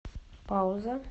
пауза